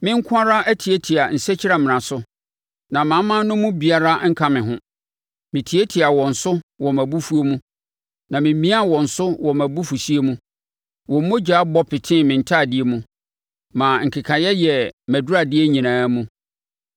“Me nko ara atiatia nsakyiamena so, na amanaman no mu obiara anka me ho. Metiatiaa wɔn so wɔ mʼabufuo mu na memiaa wɔn so wɔ mʼabufuhyeɛ mu; wɔn mogya bɔ petee me ntadeɛ mu, maa nkekaeɛ yɛɛ mʼaduradeɛ nyinaa mu.